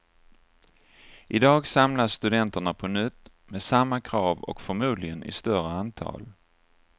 I dag samlas studenterna på nytt, med samma krav och förmodligen i större antal.